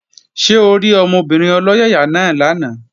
Ṣé orí ọmọbìnrin ọlọ́yàyà náà lánàá?